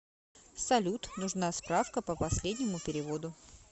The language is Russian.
салют нужна справка по последнему переводу